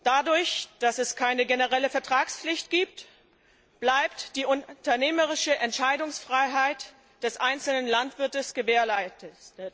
Da es keine generelle Vertragspflicht gibt, bleibt die unternehmerische Entscheidungsfreiheit des einzelnen Landwirts gewährleistet.